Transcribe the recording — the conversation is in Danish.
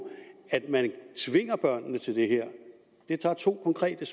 at man tvinger børnene til det her det er to konkrete